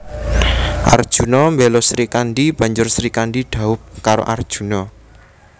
Arjuna mbela Srikandhi banjur Srikandhi dhaup karo Arjuna